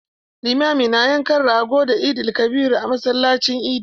Limami na yankan rago da Eid-el-kabir a masallacin idi.